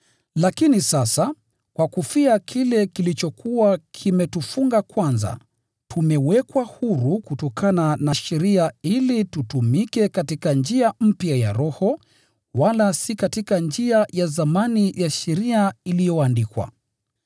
Lakini sasa, kwa kufia kile kilichokuwa kimetufunga kwanza, tumewekwa huru kutokana na sheria ili tutumike katika njia mpya ya Roho, wala si katika njia ya zamani ya sheria iliyoandikwa.